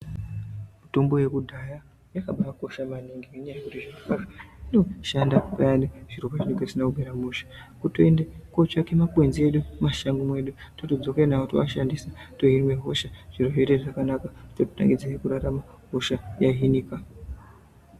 Mitombo yekudhaya yakabakosha maningi, ngenyaya yekuti inoshande payanani zviro pazvinenge zvisina kumira mushe, kutoende kootsvake makwenzi edu mumashango mwedu totodzoke nayo toashandise tohinwe hosha , zviro zvoite zvakanaka tototangidze kurarama , hosha yahinika.